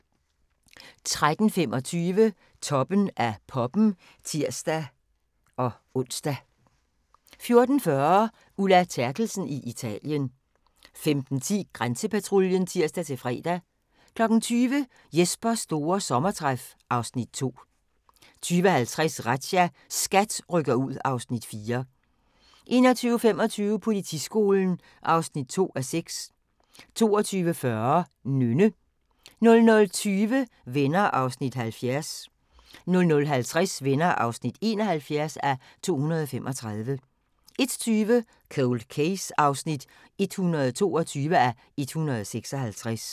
13:25: Toppen af poppen (tir-ons) 14:40: Ulla Terkelsen i Italien 15:10: Grænsepatruljen (tir-fre) 20:00: Jespers store sommertræf (Afs. 2) 20:50: Razzia – SKAT rykker ud (Afs. 4) 21:25: Politiskolen (2:6) 22:40: Nynne 00:20: Venner (70:235) 00:50: Venner (71:235) 01:20: Cold Case (122:156)